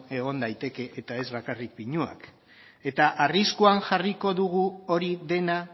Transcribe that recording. egon daiteke eta ez bakarrik pinuak eta arriskuan jarriko dugu hori dena